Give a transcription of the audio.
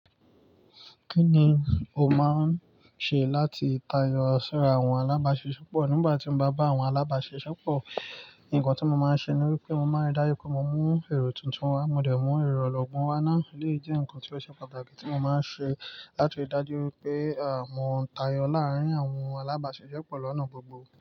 Kí ni o máa ń ṣe láti tayọ sí àwọn alábàáṣisepọ̀? Nígbà tí mo bá bá àwọn alábáṣiṣepọ̀, nǹkan tí mo máa ń ṣe ni wípé mo máa ń rí dájú pé mo mun èrò tuntun wá, mo dẹ̀ mú èrò ọlọ́gbọ́n wá náà. Eléyì jẹ́ ǹkan tí ó ṣe pàtàkì tí mo máa ń ṣe láti lé rí dájú wípé, mọ́ ń tayọ láàárín àwọn alábáṣiṣepọ̀ lọ́nà gbogbo.